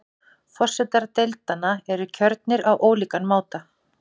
Forsetar deildanna eru kjörnir á ólíkan máta.